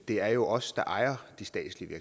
det er os der ejer de statslige